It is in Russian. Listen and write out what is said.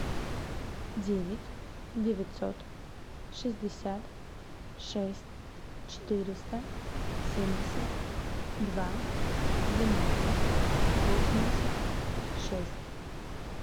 девять девятьсот шестьдесят шесть четыреста семьдесят два двенадцать восемьдесят шесть